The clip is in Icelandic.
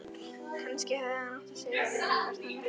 Kannski hefði hann átt að segja þeim hvert hann ætlaði.